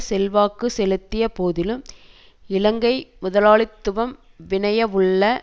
செல்வாக்கு செலுத்திய போதிலும் இலங்கை முதலாளித்துவம் விளையனுள்ள